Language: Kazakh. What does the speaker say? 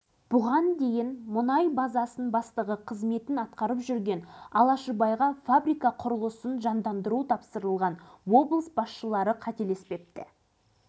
адамды бірден жете тану қиын алғашқы әсер қашанда алдамшы келеді сенім ақбөбектен басталған мұндағы жұмыс әлемдік